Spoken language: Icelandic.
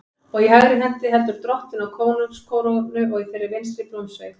Og í hægri hendi heldur Drottinn á konungskórónu og í þeirri vinstri blómsveig.